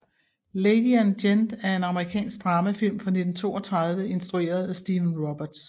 Lady and Gent er en amerikansk dramafilm fra 1932 instrueret af Stephen Roberts